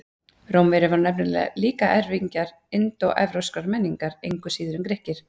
Rómverjar voru nefnilega líka erfingjar indóevrópskrar menningar, engu síður en Grikkir.